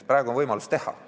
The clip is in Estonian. Praegu on võimalus teha.